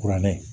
Kuranɛ